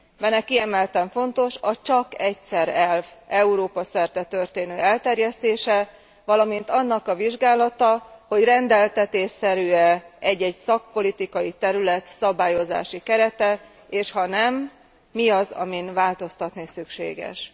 Benne kiemelten fontos a csak egyszer elv Európa szerte történő elterjesztése, valamint annak a vizsgálata, hogy rendeltetésszerű e egy egy szakpolitikai terület szabályozási kerete, és ha nem, mi az, amin változtatni szükséges.